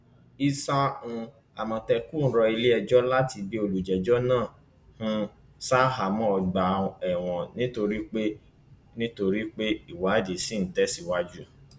isà um àmọtẹkùn rọ iléẹjọ láti gbé olùjẹjọ náà um ṣaháàmọ ọgbà ẹwọn nítorí pé nítorí pé ìwádìí ṣì ń tẹsíwájú